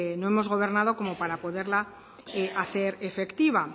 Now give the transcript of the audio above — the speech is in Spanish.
no hemos gobernado como para poderla hacer efectiva